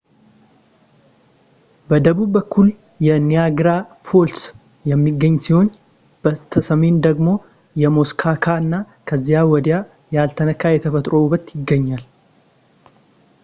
በደቡብ በኩል የኒያጋራ ፎልስ የሚገኝ ሲሆን በስተ ሰሜን ደግሞ የሙስኮካ እና ከዚያ ወዲያ ያልተነካ የተፈጥሮ ውበት ይገኛል